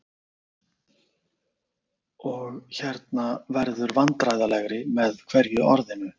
og- hérna- verður vandræðalegri með hverju orðinu.